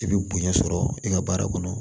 I bɛ bonya sɔrɔ i ka baara kɔnɔ